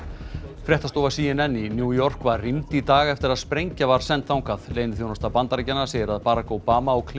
fréttastofa c n n í New York var rýmd í dag eftir að sprengja var send þangað leyniþjónusta Bandaríkjanna segir að Barack Obama og